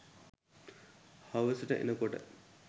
හවසට එනකොට